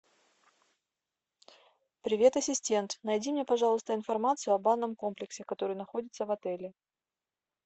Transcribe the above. привет ассистент найди мне пожалуйста информацию о банном комплексе который находится в отеле